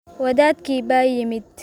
Wadaadkii baa yimid